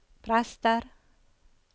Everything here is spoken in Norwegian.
prester